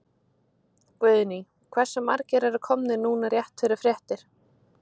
Guðný: Hversu margir eru komnir núna rétt fyrir fréttir?